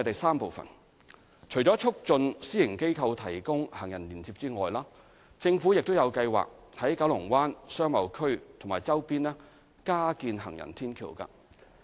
三除了促進私營機構提供行人連接外，政府有計劃在九龍灣商貿區及其周邊加建行人天橋。